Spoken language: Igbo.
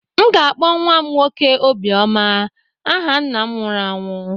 M ga-akpọ nwa m nwoke "Obioma" aha nna m nwụrụ anwụ.